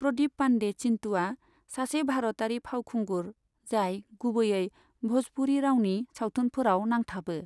प्रदिप पांदे चिन्टुआ सासे भारतयारि फावखुंगुर जाय गुबैयै भोजपुरि रावनि सावथुनफोराव नांथाबो।